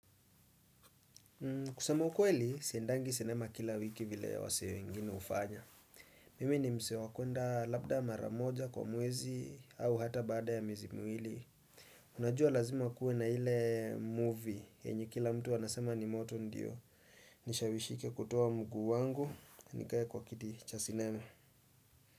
Kusema ukweli, siendangi sinema kila wiki vile ya wasee wengine hufanya. Mimi ni msee wa kwenda labda mara moja kwa mwezi au hata baada ya miezi miwili. Unajua lazima kuwe na ile movie yenye kila mtu wanasema ni moto ndiyo nishawishike kutoa mguu wangu, nikae kwa kiti cha sinema.